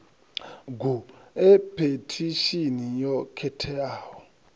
gu e phethishini yo khetheaho